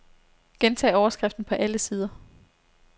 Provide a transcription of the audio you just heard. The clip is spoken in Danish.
Gentag overskriften på alle sider.